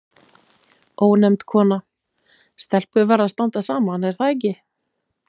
Ónefnd kona: Stelpur verða að standa saman, er það ekki?